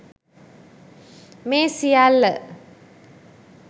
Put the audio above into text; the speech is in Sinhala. මේ සියල්ල